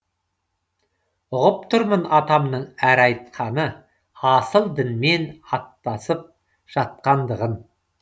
ұғып тұрмын атамның әр айтқаны асыл дінмен астасып жатқандығын